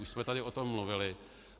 Už jsme tady o tom mluvili.